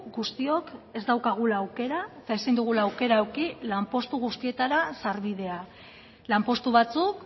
guztiok ez daukagula aukera eta ezin dugula aukera eduki lanpostu guztietara sarbidea lanpostu batzuk